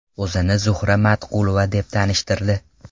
O‘zini Zuhra Matqulova deb tanishtirdi.